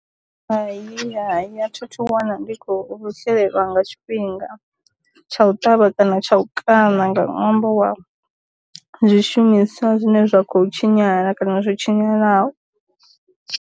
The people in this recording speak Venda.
Hayi hayi a tha thu wana ndi khou shelelwa nga tshifhinga tsha u ṱavha kana tsha u kana nga ṅwambo wa zwi shumiswa zwine zwa kho tshinyala kana zwo tshinyalaho.